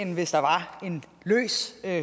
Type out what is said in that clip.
der